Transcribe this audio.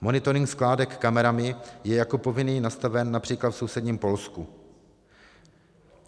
Monitoring skládek kamerami je jako povinný nastaven například v sousedním Polsku.